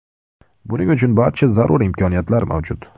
Buning uchun barcha zarur imkoniyatlar mavjud.